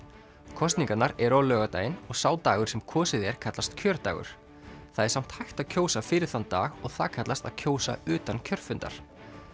kosningarnar eru á laugardaginn og sá dagur sem kosið er kallast kjördagur það er samt hægt að kjósa fyrir þann dag og það kallast að kjósa utan kjörfundar